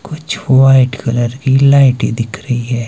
कुछ white colour की लाइटें दिख रही है।